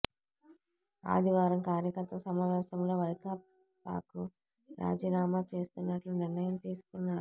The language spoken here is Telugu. ఆదివారం కార్యకర్తల సమావేశంలో వైకాపాకు రాజీనామా చేస్తున్నట్లు నిర్ణయం తీసుకున్నారు